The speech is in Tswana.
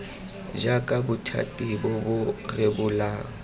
jaaka bothati bo bo rebolang